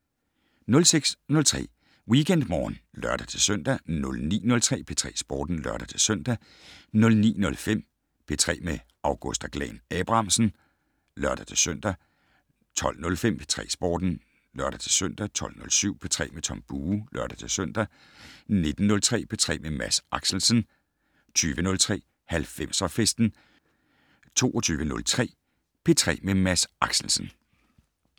06:03: WeekendMorgen (lør-søn) 09:03: P3 Sporten (lør-søn) 09:05: P3 med Augusta Glahn-Abrahamsen (lør-søn) 12:05: P3 Sporten (lør-søn) 12:07: P3 med Tom Bue (lør-søn) 19:03: P3 med Mads Axelsen 20:03: 90'er-festen 22:03: P3 med Mads Axelsen